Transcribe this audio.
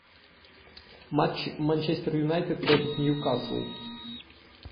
матч манчестер юнайтед против ньюкасл